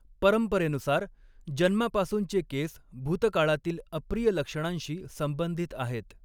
परंपरेनुसार, जन्मापासूनचे केस भूतकाळातील अप्रिय लक्षणांशी संबंधित आहेत.